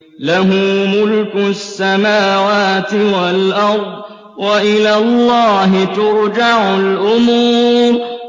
لَّهُ مُلْكُ السَّمَاوَاتِ وَالْأَرْضِ ۚ وَإِلَى اللَّهِ تُرْجَعُ الْأُمُورُ